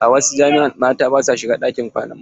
A wasu jami'a mata ba sua shiga ɗakin kwanan maza.